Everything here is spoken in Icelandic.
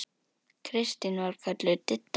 Kristín var kölluð Didda.